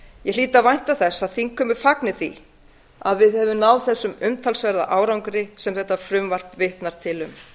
ég hlýt að vænta þess að þingheimur fagni því að við höfum náð þeim umtalsverða árangri sem þetta frumvarp vitnar til um